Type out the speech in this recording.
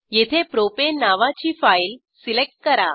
येथे प्रोपाने नावाची file select करा